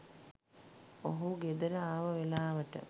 ඔහු ගෙදර ආව වෙලාවට.